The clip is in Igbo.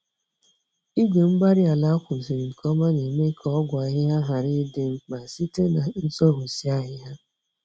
Igwe-mgbárí-ala ákwàziri nke ọma némè' ka ọgwụ ahịhịa ghara ịdị mkpa, site n'zoghusi ahịhịa.